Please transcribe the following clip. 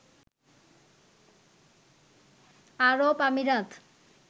আরব আমিরাত